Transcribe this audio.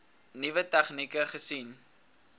nuwe tegnieke gesien